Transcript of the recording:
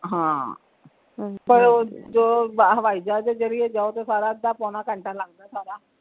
ਹਾਂ ਪਰ ਉਹ ਹਛੈ ਜਹਾਜ ਜਰੀਏ ਜਾਓ ਤੇ ਸਾਰਾ ਅੱਧਾ ਪਾਉਣਾ ਘੰਟਾ ਲਗਦਾ ਹੈ ਸਾਰਾ।